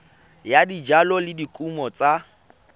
ya dijalo le dikumo tsa